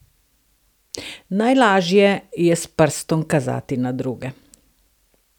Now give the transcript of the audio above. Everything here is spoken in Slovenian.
Najlažje je s prstom kazati na druge!